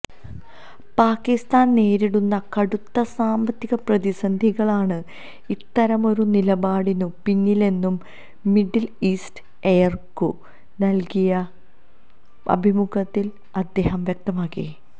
പാകിസ്താന് നേരിടുന്ന കടുത്ത സാമ്പത്തിക പ്രതിസന്ധികളാണ് ഇത്തരമൊരു നിലപാടിനു പിന്നിലെന്നും മിഡില് ഈസ്റ്റ് ഐയ്ക്കു നല്കിയ അഭിമുഖത്തില് അദ്ദേഹം വ്യക്തമാക്കി